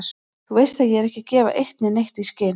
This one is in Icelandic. Þú veist ég er ekki að gefa eitt né neitt í skyn.